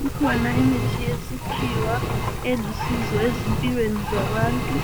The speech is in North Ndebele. Kukhona imithi yesikhiwa elusizo ezimpilweni zabantu,